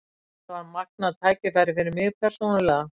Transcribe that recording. Þetta er magnað tækifæri fyrir mig persónulega.